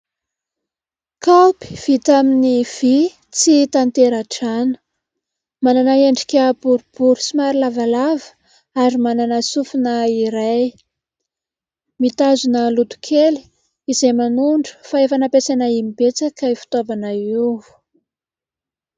Kaopy vita amin'ny vy tsy tatera-drano. Manana endrika boribory somary lavalava ary manana sofina iray. Mitazona loto kely izay manondro fa efa nampiasaina imbetsaka io fitaovana io.